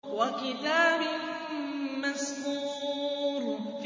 وَكِتَابٍ مَّسْطُورٍ